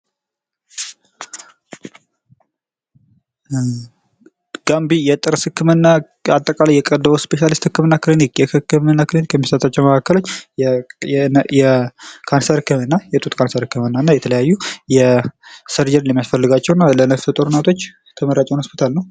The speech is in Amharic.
ጋምቢ የጥርስ ህክምና አጠቃላይ የቀዶ ሆስፒታል ህክምና ክሊኒክ ይህ ህክምና ክሊኒክ ከሚሰጣቸው መካከል የካንሰር ህክምና ህክምና የጡት ካንሰር ህክምና የተለያዩ ሰርጀሪ ለሚያስፈልጋቸው እና ለነፍሰጡር እናቶች ተመራጭ የሆነ ሆስፒታል ነው።